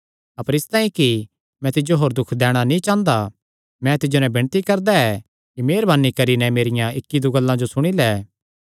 अपर इसतांई कि मैं तिज्जो होर दुख नीं दैणा चांह़दा मैं तिज्जो नैं विणती करदा ऐ कि मेह़रवानी करी नैं मेरियां इक्क दो गल्लां सुणी लै